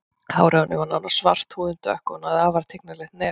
Hárið á henni var nánast svart, húðin dökk og hún hafði afar tignarlegt nef.